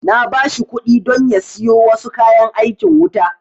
Na ba shi kuɗi don ya siyo wasu kayan aikin wuta